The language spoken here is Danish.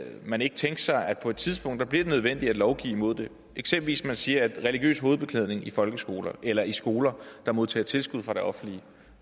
man ikke tænke sig at på et tidspunkt bliver det nødvendigt at lovgive imod det eksempelvis ved at sige at religiøs hovedbeklædning i folkeskoler eller i skoler der modtager tilskud fra det offentlige